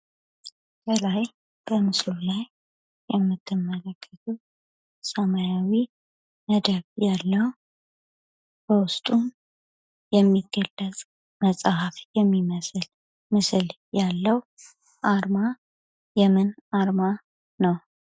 ከላይ ከምስሉ ላይ የምትመለከቱት ሰማያዊ ነገር ያለው በውስጡ የሚገለጥ መጽሐፍ የሚመስል ምስል ያለው አርማ የምን አርማ ነው።